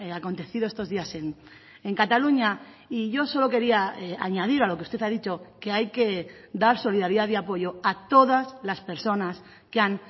acontecido estos días en cataluña y yo solo quería añadir a lo que usted ha dicho que hay que dar solidaridad y apoyo a todas las personas que han